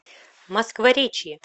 москворечье